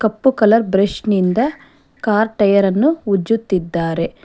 ಕಪ್ಪು colour brush ನಿಂದ car ಟಯರನ್ನು ಉಜ್ಜುತ್ತಿದ್ದಾರೆ.